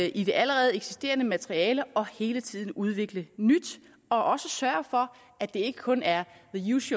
i det allerede eksisterende materiale og hele tiden udvikle nyt og også sørge for at det ikke kun er